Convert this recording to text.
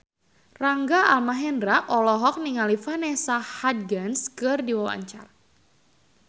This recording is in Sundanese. Rangga Almahendra olohok ningali Vanessa Hudgens keur diwawancara